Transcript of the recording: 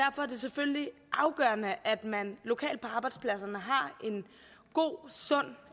selvfølgelig afgørende at man lokalt på arbejdspladserne har en god sund